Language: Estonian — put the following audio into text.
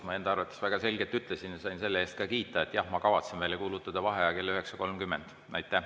Ma enda arvates väga selgelt ütlesin ja sain selle eest ka kiita, et jah, ma kavatsen välja kuulutada vaheaja kell 9.30.